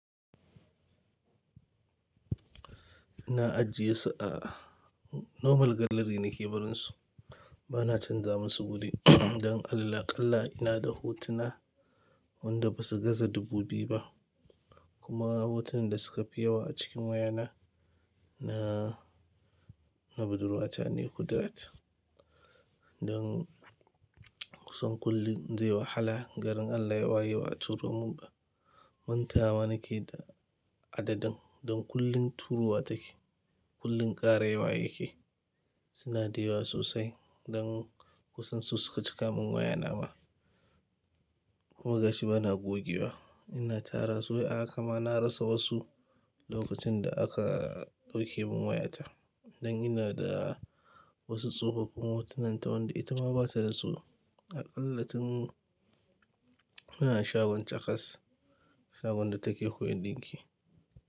Ina ajiye su a normal gallery na ke barin su. Bana canza musu guri don Allah. Qalla ina da hotuna wanda ba su gaza dubu biyu ba, kuma hotunan da suka fi yawa a cikin wayana na, na budurwata ne kudirat. Don kusan kullum in je wahala garin Allah ya waye ba a turo mun ba. Mantawa nake da adadin don kullum turuwa take, kullum kara yawa yake. Suna da yawa sosai don kusan su suka cika min wayana ma. Kuma gashi bana goge wa. Ina tara su, a'a kam na rasa wasu lokacin da aka ɗauke mun wayata. Don ina da wasu tsofafin hotunan ta wanda ita ma ba ta rasu. A ƙalla tun muna shagon cas, shagon da take koyan ɗinki.